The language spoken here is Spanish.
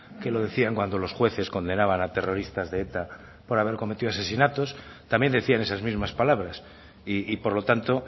que lo decían cuando los jueces condenaban a terroristas de eta por haber cometido asesinatos también decían esas mismas palabras y por lo tanto